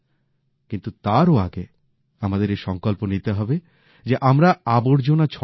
কিন্তু তারও আগে আমাদের এই সংকল্প নিতে হবে যে আমরা আবর্জনা ছড়াবো না